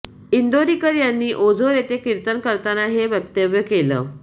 इंदोरीकर यांनी ओझोर येथे किर्तन करताना हे वक्तव्य केलं